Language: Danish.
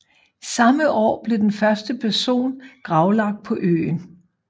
Samme år blev den første person gravlagt på øen